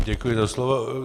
Děkuji za slovo.